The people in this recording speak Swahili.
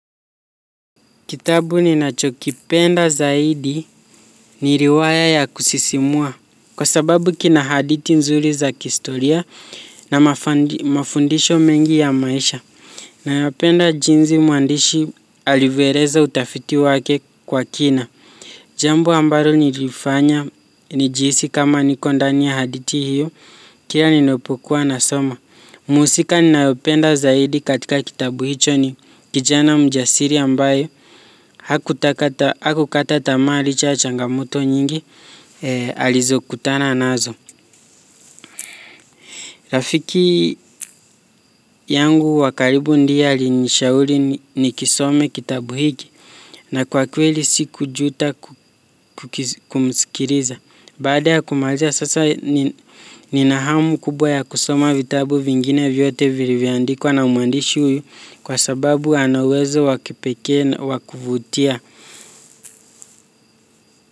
Kitabu ninachokipenda zaidi ni riwaya ya kusisimua. Kwa sababu kina hadithi nzuri za kihistoria na mafundisho mengi ya maisha. Nayopenda jinsi mwandishi alivyoeleza utafiti wake kwa kina. Jambo ambalo nilifanya nijihisi kama niko ndani ya hadithi hiyo kira ninapokuwa nasoma. Mhusika ninayopenda zaidi katika kitabu hicho ni kijana mjasiri ambaye hakukata tamaa licha ya changamoto nyingi alizokutana nazo. Rafiki yangu wa karibu ndie alinishauri nikisome kitabu hiki na kwa kweli sikujuta kumskiliza. Baada ya kumaliza sasa nina hamu kubwa ya kusoma vitabu vingine vyote vilivyoandikwa na mwandishi huyu kwa sababu ana uwezo wa kipekee wa kuvutia.